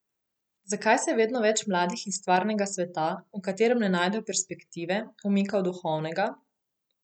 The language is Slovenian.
Zakaj se vedno več mladih iz stvarnega sveta, v katerem ne najdejo perspektive, umika v duhovnega?